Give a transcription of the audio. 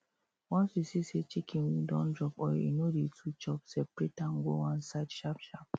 once you see say chicken wing don drop or e no dey too chop seperate am go one side sharp sharp